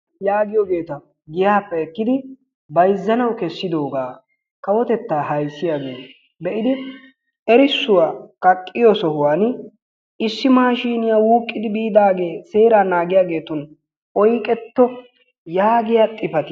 yaagiyoogeta giyaappe ekkidi bayzzanawu kessidoogaa kawottettaa ayssiyaaggee be'idi erissuwaa kaaqqiyoo sohuwaan issi maashiniyaa wuuqqidi biidagee heraa naagiyaagetun oyqqetto yaagiyaa xifaatiyaa